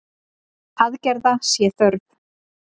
Aðgerða sé þörf.